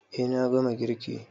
E, na gama girki.